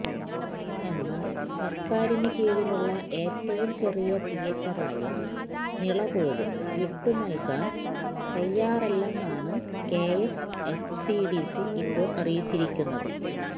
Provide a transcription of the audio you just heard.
എന്നാല് സര്ക്കാരിന് കീഴിലുള്ള ഏറ്റവും ചെറിയ തിയറ്ററായ നിള പോലും വിട്ടുനല്കാന് തയ്യാറല്ലെന്നാണ് കെഎസ്എഫ്ഡിസി ഇപ്പോള് അറിയിച്ചിരിക്കുന്നത്